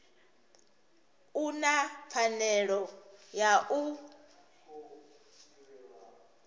u na pfanelo ya u